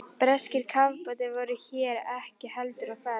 Breskir kafbátar voru hér ekki heldur á ferð.